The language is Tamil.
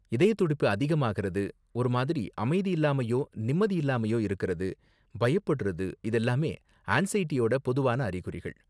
இதய துடிப்பு அதிகமாகறது, ஒரு மாதிரி அமைதி இல்லாமயோ நிம்மதி இல்லாமயோ இருக்கறது, பயப்படுறது, இதெல்லாமே ஆன்ஸைடியோட பொதுவான அறிகுறிகள்.